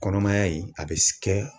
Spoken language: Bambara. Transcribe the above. Kɔnɔmaya in, a bɛ kɛ.